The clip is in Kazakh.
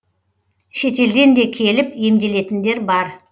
шетелден де келіп емделетіндер бар